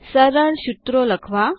સરળ સુત્રો લખવા